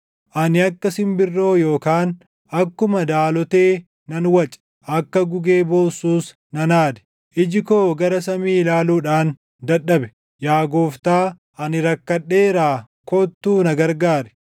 Ani akka simbirroo yookaan akkuma daalotee nan wace; akka gugee boossuus nan aade; iji koo gara samii ilaaluudhaan dadhabe; yaa Gooftaa ani rakkadheeraa kottuu na gargaari!”